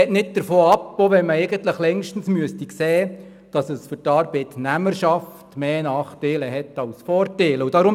Man lässt nicht davon ab, auch wenn man eigentlich längstens sehen müsste, dass es für die Arbeitnehmerschaft mehr Nachteile als Vorteile hat.